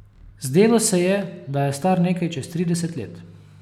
Zdelo se je, da je star nekaj čez trideset let.